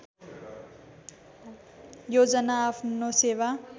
योजना आफ्नो सेवा